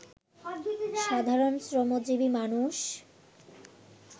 সাধারণ শ্রমজীবী মানুষ